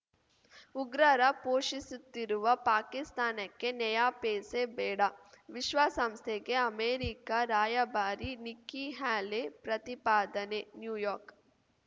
ಉಗ್ರರ ಪೋಷಿಸುತ್ತಿರುವ ಪಾಕಿಸ್ತಾನಕ್ಕೆ ನಯಾಪೈಸೆ ಬೇಡ ವಿಶ್ವಸಂಸ್ಥೆಗೆ ಅಮೆರಿಕ ರಾಯಭಾರಿ ನಿಕ್ಕಿ ಹ್ಯಾಲೆ ಪ್ರತಿಪಾದನೆ ನ್ಯೂಯಾರ್ಕ್